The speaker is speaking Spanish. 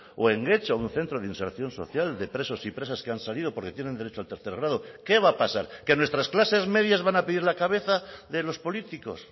o en getxo un centro de reinserción social de presos y presas que han salido porque tienen derecho al tercer grado qué va a pasar que nuestras clases medias van a pedir la cabeza de los políticos